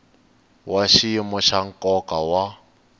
wa xiyimo xa nkoka wa